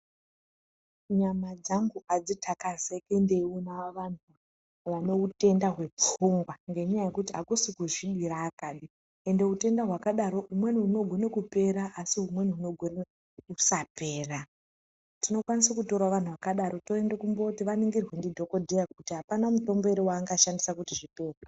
Nyama dzangu adzitakazeki ndeiona vanhu vane utenda hwepfungwa ngenyaya yekuti akusi kuzvidira Kani, ende utenda hwakadaro humweni hunogone kupera asi humweni hunogone kusapera tinokwanisawo kutora vantu vakadaro toende kumbooti vaningotwe ndidhokodheya kuti apana mutombo ere waangashandisa kuti zvipere.